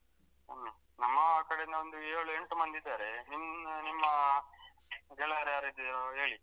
ಹ್ಮ್ ನಮ್ಮ ಕಡೆಯಿಂದ ಇಂದ ಒಂದು ಏಳು ಎಂಟು ಮಂದಿ ಇದ್ದಾರೆ ನಿಮ್ ನಿಮ್ಮ ಗೆಳೆಯರ್ಯಾರಿದ್ದೀರೊ ಹೇಳಿ.